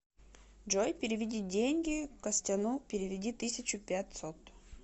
джой переведи деньги костяну переведи тысячу пятьсот